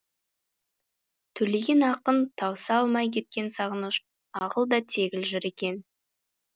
төлеген ақын тауыса алмай кеткен сағыныш ағыл да тегіл жыр екен